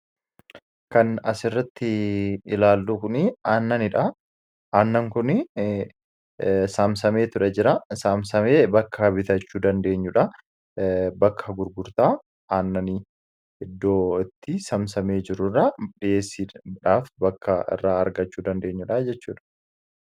Kan as irratti ilaallu aannan kun saamsamee ture jira saamsamee bakka bitachuu dandeenyuudha. Bakka gurgurtaa aannanii iddoo itti samsamee jiruu irraa dhiyeessiidhaaf bakka irraa argachuu dandeenyuudha jechuudha.